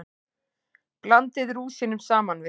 Blandið rúsínunum saman við.